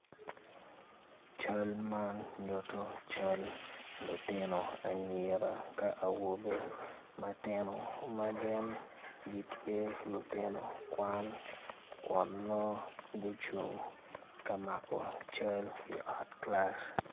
Cal man nyuto lutino anyira ka awobe matino ma gin gitye lutino kwan kun nongo gucung ka mako cal i ot kilac.